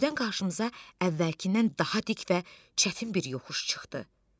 Birdən qarşımıza əvvəlkindən daha dik və çətin bir yoxuş çıxdı.